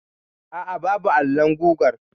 Aa, babu alon gugar.